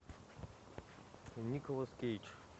николас кейдж